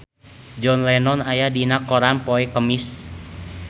John Lennon aya dina koran poe Kemis